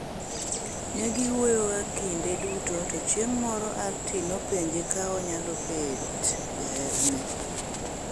Ne giwuyoga kinde duto to chieng' moro, Arti nopenje ka onyalo bet jaherane.